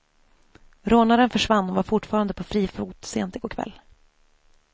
Rånaren försvann och var fortfarande på fri fot sent i går kväll.